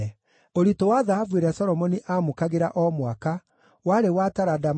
Ũritũ wa thahabu ĩrĩa Solomoni aamũkagĩra o mwaka warĩ wa taranda 666,